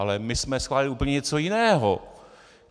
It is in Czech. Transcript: Ale my jsme schválili úplně něco jiného.